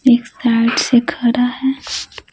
एक साइड से खड़ा है।